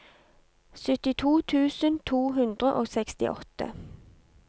syttito tusen to hundre og sekstiåtte